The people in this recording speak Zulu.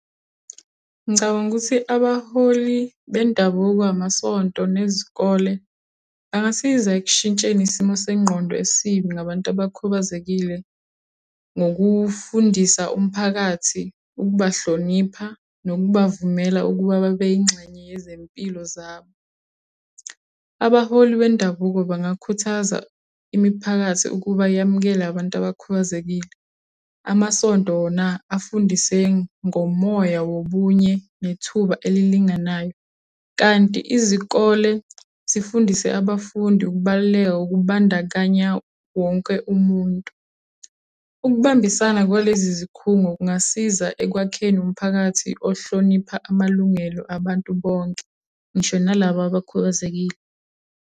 Ngicabanga ukuthi abaholi bendabuko, amasonto, nezikole, angasiza ekushintsheni isimo sengqondo esibi ngabantu abakhubazekile. Ngokufundisa umphakathi ukubahlonipha, nokubavumela ukuba babe yingxenye yezimpilo zabo. Abaholi bendabuko bakhuthaza imiphakathi ukuba yamukela abantu abakhubazekile. Amasonto wona afundise ngomoya wobunye, nethuba elilinganayo. Kanti izikole zifundise abafundi ukubaluleka okubandakanya wonke umuntu. Ukubambisana kwalezi zikhungo kungasiza ekwakheni umphakathi ohlonipha amalungelo abantu bonke, ngisho nalaba abakhubazekile.